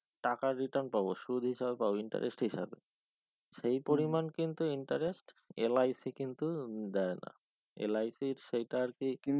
টাকা return পাবো সুদ হিসাবে পাবো interest হিসাবে সেই পরিমান কিন্তু interestLIC কিন্তু উম দেয় না LIC ইর সেইটার আর কে কি